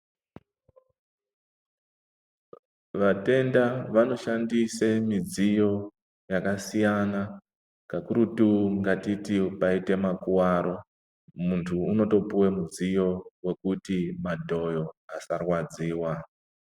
Vatenda vanoshandisa midziyo yakasiyana kakurutu ngatititu paite makuwaro muntu anopuwa mudziyo wekuti madhoyo asarwadziwa.